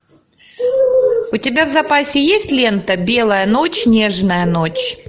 у тебя в запасе есть лента белая ночь нежная ночь